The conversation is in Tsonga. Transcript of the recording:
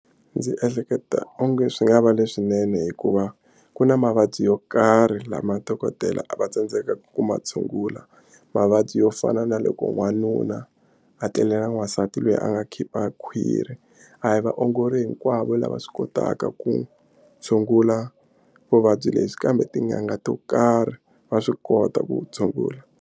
Ndzi ehleketa onge swi nga va leswinene hikuva ku na mavabyi yo karhi lama dokodela a va tsandzekaka ku ma tshungula mavabyi yo fana na loko n'wanuna a tlele na n'wansati loyi a nga khipha khwiri a hi vaongori hinkwavo lava swi kotaka ku tshungula vuvabyi lebyi kambe tin'anga to karhi va swi kota ku tshungula.